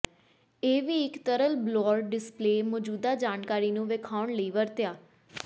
ਇਹ ਵੀ ਇੱਕ ਤਰਲ ਬਲੌਰ ਡਿਸਪਲੇਅ ਮੌਜੂਦਾ ਜਾਣਕਾਰੀ ਨੂੰ ਵੇਖਾਉਣ ਲਈ ਵਰਤਿਆ